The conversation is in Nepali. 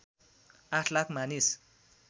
८ लाख मानिस